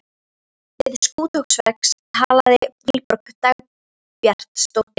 Við Skothúsveg talaði Vilborg Dagbjartsdóttir um